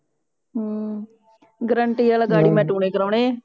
ਹਮ guarantee ਆਲਾ ਮੈ ਗਾੜੀ ਟੂਣੇ ਕਰੋਨੇ ਆ